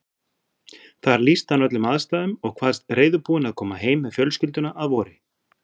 Þar lýsti hann öllum aðstæðum og kvaðst reiðubúinn að koma heim með fjölskylduna að vori.